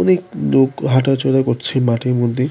অনেক লোক হাঁটাচলা করছে মাঠের মধ্যে।